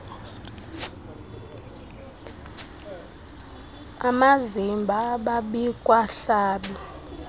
amazimba ababikwa hlaba